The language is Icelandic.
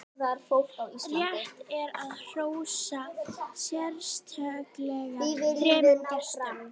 rétt er að hrósa sérstaklega þremur gestum